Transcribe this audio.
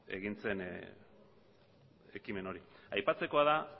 egin zen ekimen hori aipatzekoa da